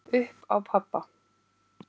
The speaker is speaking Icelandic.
Upp á pabba.